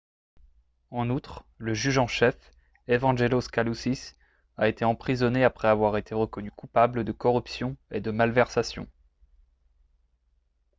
en outre le juge en chef evangelos kalousis a été emprisonné après avoir été reconnu coupable de corruption et de malversations